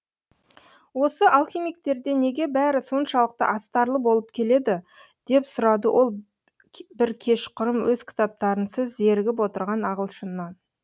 осы алхимиктерде неге бәрі соншалықты астарлы болып келеді деп сұрады ол бір кешқұрым өз кітаптарынсыз зерігіп отырған ағылшыннан